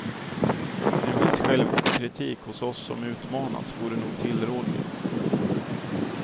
En viss självkritik hos oss som utmanats vore nog tillrådlig.